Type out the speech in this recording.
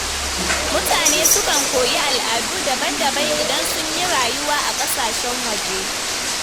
Mutane sukan koyi al’adu daban-daban idan sun yi rayuwa a ƙasashen waje.